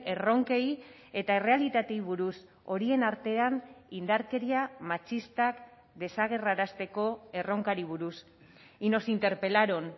erronkei eta errealitateei buruz horien artean indarkeria matxistak desagerrarazteko erronkari buruz y nos interpelaron